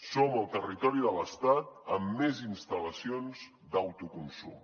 som el territori de l’estat amb més instal·lacions d’autoconsum